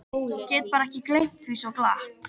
Get bara ekki gleymt því svo glatt.